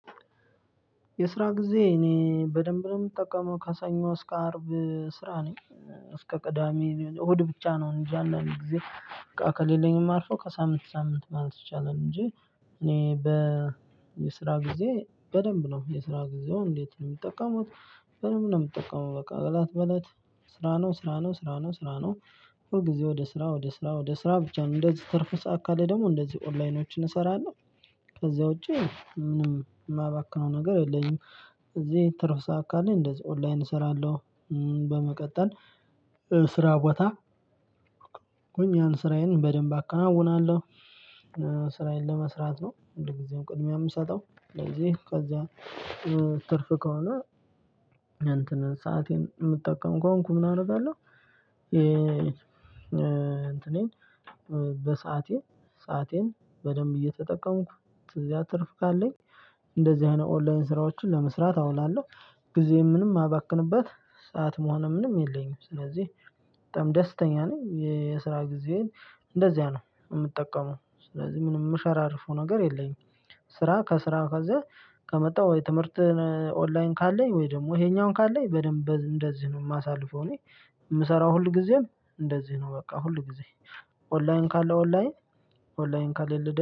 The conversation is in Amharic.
የስራ ጊዜ እኔ በደንብ ነው የምጠቀመው ከሰኞ እስከ አርብ ስራ ነኝ እስከ ቅዳሜ እሁድ ብቻ ነው እንጃን አንዳንድ ጊዜ ከሌለኝም ማርፈው ከሳምንት ሳምንት ማለት ይቻላል እንጂ እኔ በስራ ጊዜ በደንብ ነው የስራ ጊዜውን እንዴት ነው የምጠቀመው? በደንብ ነው የምጠቀመው በቃ እለት በእለት ስራ ነው ስራ ነው ስራ ነው ስራ ነው ሁል ጊዜ ወደ ስራ ወደ ስራ ወደ ስራ ብቻ ነው እንደዚህ ትርፍ ሰዓት ካለ ደግሞ እንደዚህ ኦንላይኖችን እሰራለሁ። ከዛ ውጪ ምንም የማባክነው ነገር የለኝም። እዚህ ትርፍ ሰዓት ካለኝ እንደዚህ ኦንላይን እሰራለሁ። በመቀጠል ስራ ቦታ ሆኜ ስራዬን በደንብ አከናውናለሁ። ስራዬን ለመስራት ነው እንደ ጊዜው ቅድሚያ የምሰጠው ስለዚህ ከዛ ትርፍ ከሆነ እንትንን ሰአቴን የምጠቀም ከሆንኩ ምን አደርጋለሁ። እንትኔን በሰአቴ ሰአቴን በደንብ እየተጠቀምኩ ትርፍ ካለኝ እንደዚህ አይነት ኦንላይን ስራዎችን ለመስራት አውላለሁ። ጊዜ ምንም ማባክንበት ሰዓት መሆን ምንም የለኝም። ስለዚህ በጣም ደስተኛ ነኝ የስራ ጊዜ እንደዚያ ነው የምጠቀመው ስለዚህ ምንም የምሸራርፈው ነገር የለኝም። ስራ ከስራ ከዛ ከመጣሁ የትምህርት ኦንላይን ካለኝ ወይ ደግሞ ይሄኛውን ካለኝ በደንብ እንደዚህ ነው የማሳልፈው። እኔ የምሰራው ሁልጊዜም እንደዚህ ነው በቃ ሁልጊዜ ኦንላይን ካለ ኦንላይን ኦንላይን ካለ